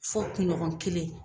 Fɔ kuɲɔgɔn kelen